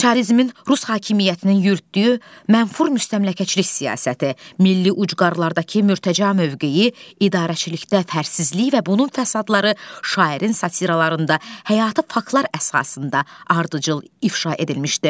çarizmin rus hakimiyyətinin yürütdüyü mənfur müstəmləkəçilik siyasəti, milli ucqarlardakı mütəca mövqeyi, idarəçilikdə fərsizlik və bunun fəsadları şairin satiralarında həyatı faktlar əsasında ardıcıl ifşa edilmişdi.